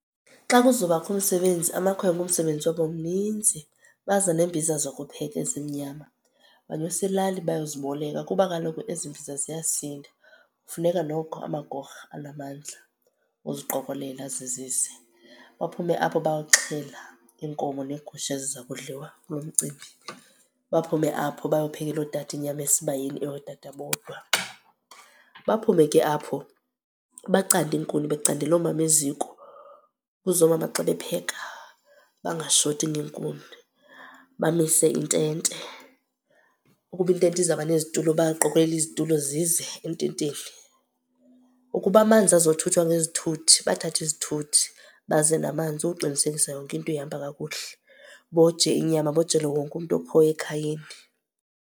Xa kuzobakho umsebenzi amakhwenkwe umsebenzi wabo mninzi, baza neembiza zokupheka ezimnyama. Banyusa ilali bayoziboleka kuba kaloku ezimbiza ziyasinda funeka noko amagorha anamandla uziqokolela azizise. Baphume apho bayoxhela inkomo neegusha eziza kudliwa kulo mcimbi. Baphume apho bayophekela ootata inyama esibayeni, eyootata bodwa. Baphume ke apho bacande iinkuni becandela omama eziko kuze oomama xa bepheka bangashoti ngeenkuni. Bamise intente. Ukuba intente izawuba nezitulo bayaqokelela izitulo zize ententeni. Ukuba amanzi azothuthwa ngezithuthi, bathathe izithuthi baze namanzi ukuqinisekisa yonke into ihamba kakuhle. Boje inyama, bojele wonke umntu okhoyo ekhayeni.